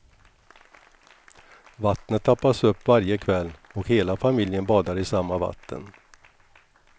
Vattnet tappas upp varje kväll och hela familjen badar i samma vatten.